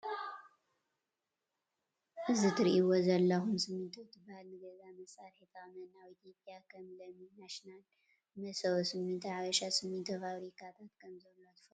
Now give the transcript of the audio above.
እዚ እትሪእዎ ዘለኹም ሲሚንቶ እንትበሃል ንገዛ መስርሒ ይጠቅመና። ኣብ ኢትዮጵያ ከም ለሚ ናሽናል፣ መሰቦ ሲሚንቶ፣ ሓበሻ ሲሚንቶ ፋብሪካታት ከም ዘሎ ትፈልጡ ዶ?